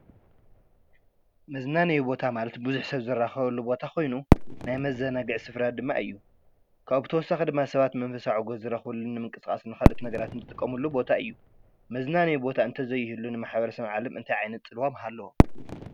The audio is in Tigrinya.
መዝናነዪ ቦታ ማለት ብዙሕ ሰብ ዝራከበሉ ቦታ ኮይኑ ናይ መዛናግዒ ስፍራ ድማ እዩ። ካብኡ ብተወሳኺ ድማ ሰባት መንፈሳዊ ዕግበት ዝረኽብሉ ምንቅስቃስ ንካልኦት ነገራት ዝጥቀሙሉ ቦታ እዩ። መዝናነይ ቦታ እንተዘይህሉ ንማሕበረሰብ ዓለም እንታይ ዓይነት ፅልዋ ምሃለዎ?